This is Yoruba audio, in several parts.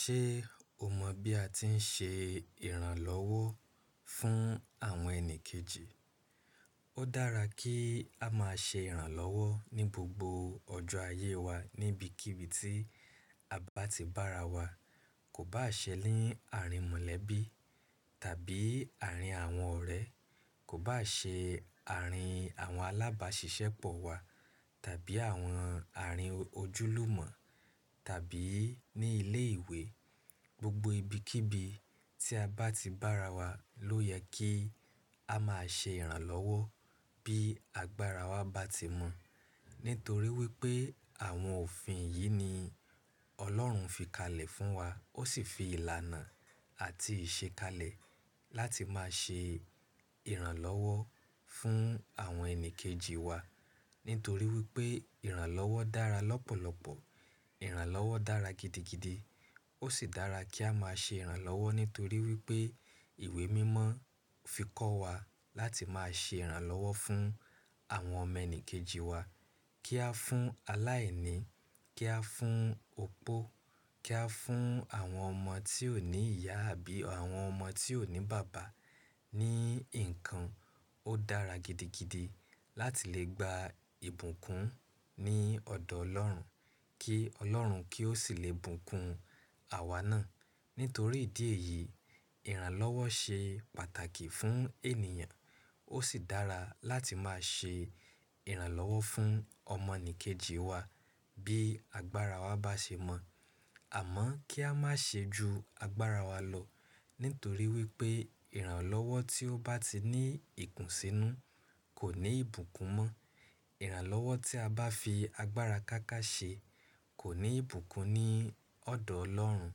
Ṣé o mọ̀ bí a ti ń ṣe ìrànlọ́wọ́ fún àwọn ẹni kejì? Ó dára kí á máa ṣe ìrànlọ́wọ́ ní gbogbo ọjọ́ ayé wa ní ibikíbi tí a bá ti bá ara wa. Kò bá ṣe ni àárín mọ̀lẹ́bí tàbí àárín àwọn ọ̀rẹ́, kò bá ṣe àárín àwọn alábàáṣiṣẹ́pọ̀ wa tàbí àwọn àárín ojúlùmọ̀ tàbí ní ilé ìwé. Gbogbo ibikíbi tí a bá ti bá ara wa ló yẹ kí á máa ṣe ìrànlọ́wọ́ bí agbára wa bá ti mọ̀. Nítorí wípé àwọn òfin yìí ni Ọlọ́run fi kalẹ̀ fún wa, ó sì fi ìlànà àti ìṣekalẹ̀ láti máa ṣe ìrànlọ́wọ́ fún àwọn ẹni kejì wa. Nítorí wípé ìrànlọ́wọ́ dára lọ́pọ̀lọpọ̀, ìrànlọ́wọ́ dára gidigidi. Ó sì dára kí á máa ṣe ìrànlọ́wọ́ nítorí wípé ìwé mímọ́ fi kọ́ wa láti máa ṣe ìrànlọ́wọ́ fún àwọn ọmọ ẹni kejì wa. Kí á fún aláìní, kí á fún opó, kí á fún àwọn ọmọ tí ò ní ìyá àbí àwọn ọmọ tí ò ní bàbá. Ni nǹkan, ó dára gidigidi láti lè gba ìbùkún ní ọ̀dọ̀ Ọlọ́run kí Ọlọ́run kí Ó sì lè bùkún àwa náà. Nítorí ìdí èyí, ìrànlọ́wọ́ ṣe pàtàkì fún ènìyàn. Ó sì dára láti máa ṣe ìrànlọ́wọ́ fún ọmọ ẹni kejì wa bí agbára wa bá ṣe mọ̀. Àmọ́ kí a má ṣe ju agbára wa lọ, nítorí wípé ìrànlọ́wọ́ tí ó bá ti ní ìkùnsínú kò ní ìbùkún mọ́. Ìrànlọ́wọ́ tí a bá fi agbára káká ṣe kò ní ìbùkún ní ọ̀dọ̀ Ọlọ́run.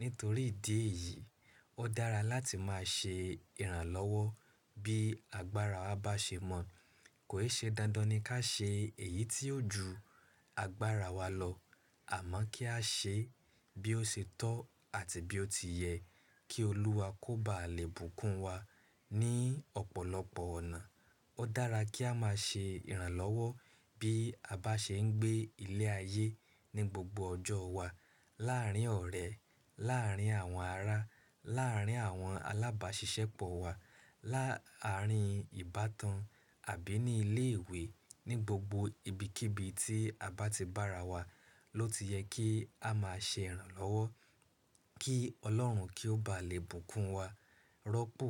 Nítorí ìdí èyí, ó dára láti máa ṣe ìrànlọ́wọ́ bí agbára wa bá ṣe mọ̀. Kò i ṣe dandan ní ká ṣe èyí tí yóò ju agbára wa lọ. Àmọ́ kí á ṣe e bí ó ṣe tọ́ àti bí ó ti yẹ kí Olúwa kó ba lè bùkún wa ní ọ̀pọ̀lọpọ̀ ọ̀nà. Ó dára kí á máa ṣe ìrànlọ́wọ́ bí a bá ṣe ń gbé ilé ayé ní gbogbo ọjọ́ wa. Láàárín ọ̀rẹ́, láàárín àwọn ará, láàárín àwọn alábàáṣiṣẹ́pọ̀ wa, láàárín ìbátan àbí ní ilé ìwé, ní gbogbo ibikíbi tí a bá ti bá ara wa ló ti yẹ kí á máa ṣe ìrànlọ́wọ́ kí Ọlọ́run kí ó ba lè bùkún wa rọ́pò.